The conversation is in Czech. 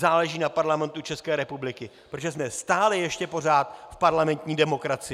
Záleží na Parlamentu České republiky, protože jsme stále ještě pořád v parlamentní demokracii.